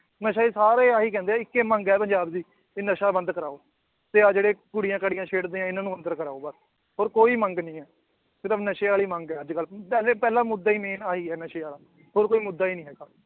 ਨਸ਼ਾ ਹੀ ਸਾਰੇ ਆਹੀ ਕਹਿੰਦੇ ਹੈ ਇੱਕੇ ਮੰਗ ਹੈ ਪੰਜਾਬ ਦੀ ਕਿ ਨਸ਼ਾ ਬੰਦ ਕਰਵਾਓ ਵੀ ਆਹ ਜਿਹੜੇ ਕੁੜੀਆਂ ਕਾੜੀਆਂ ਛੇੜਦੇ ਹੈ, ਇਹਨਾਂ ਨੂੰ ਅੰਦਰ ਕਰਵਾਓ ਬਸ ਹੋਰ ਕੋਈ ਮੰਗ ਨੀ ਹੈ ਨਸ਼ੇ ਵਾਲੀ ਮੰਗ ਹੈ ਅੱਜ ਕੱਲ੍ਹ ਪਹਿਲੇ ਪਹਿਲਾ ਮੁੱਦਾ ਹੀ main ਆਹੀ ਹੈ ਨਸ਼ੇ ਵਾਲਾ ਹੋਰ ਕੋਈ ਮੁੱਦਾ ਹੀ ਨੀ ਹੈਗਾ।